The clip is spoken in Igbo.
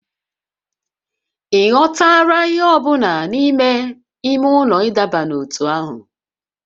Ị ghọtara ihe ọ bụla n'ime ime ụlọ ịdọba n'ótú ahụ?